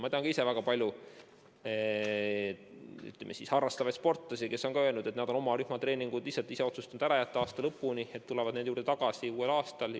Ma tean väga paljusid harrastussportlasi, kes on öelnud, et nad on rühmatreeningud lihtsalt ise otsustanud aasta lõpuni ära jätta ja tulevad nende juurde tagasi uuel aastal.